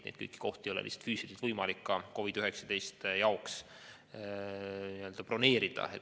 Seega, kõiki neid kohti ei ole lihtsalt füüsiliselt võimalik COVID-19 haigete jaoks broneerida.